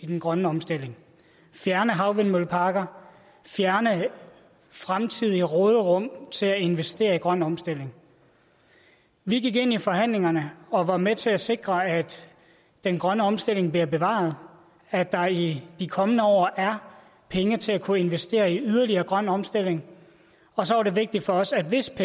den grønne omstilling fjerne havvindmølleparker og fjerne fremtidige råderum til at investere i grøn omstilling vi gik ind i forhandlingerne og var med til at sikre at den grønne omstilling bliver bevaret at der i de kommende år er penge til at kunne investere i yderligere grøn omstilling og så var det vigtigt for os at hvis